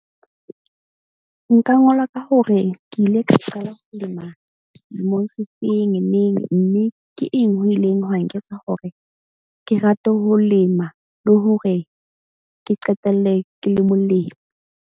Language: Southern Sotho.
Nka ngola ka hore ke ile ka qala ho lema lemong se feng neng. Mme ke eng ho ileng hwa nketsa hore ke rate ho lema, le hore ke qetelle ke le molemi.